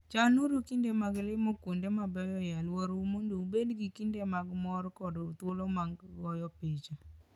Chanuru kinde mag limo kuonde mabeyo e alworano mondo ubed gi kinde mag mor koda thuolo mag goyo picha.